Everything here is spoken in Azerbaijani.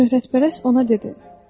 Şöhrətpərəst ona dedi: